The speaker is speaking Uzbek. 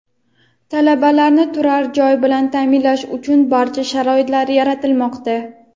Talabalarni turar joy bilan taʼminlash uchun barcha sharoitlar yaratilmoqda.